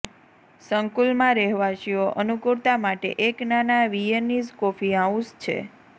સંકુલમાં રહેવાસીઓ અનુકૂળતા માટે એક નાના વિયેનીઝ કોફી હાઉસ છે